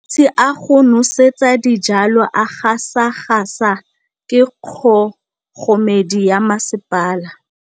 Metsi a go nosetsa dijalo a gasa gasa ke kgogomedi ya masepala.